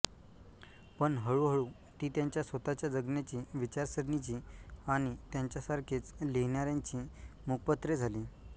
पण हळूहळू ती त्यांच्या स्वतःच्या जगण्याची विचारसरणीची आणि त्यांच्यासारखेच लिहिणाऱ्यांची मुखपत्रे झाली